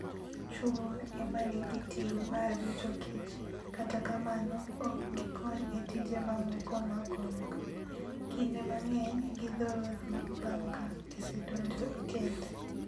Chwo e ma nigi ting' mar rito kich, kata kamano, ok gikony e tije mamoko mag odno. Kinde mang'eny, githoro tho bang' ka gisedonjo e kend.